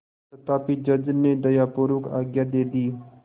तथापि जज ने दयापूर्वक आज्ञा दे दी